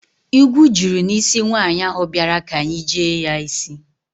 Igwu juru n'isi nwaanyị ahụ bịara ka anyị jee ya isj